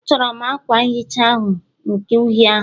A chọrọ m akwa nhicha ahu nke uhie ahụ